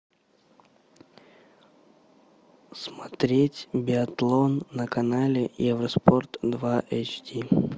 смотреть биатлон на канале евроспорт два эйч ди